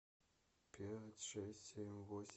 пять шесть семь восемь